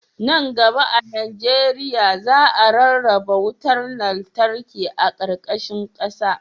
Nan gaba a najeriya, za a rarraba wutar lantarki a ƙarƙashin ƙasa..